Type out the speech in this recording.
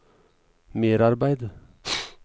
merarbeid